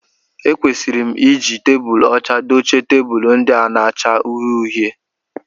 Ekwesịrị m I ji tebulu ọcha dochie tebụlu ndị a na-acha uhie uhie